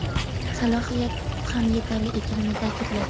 salohiyat ham yetarli ekanini ta’kidladi.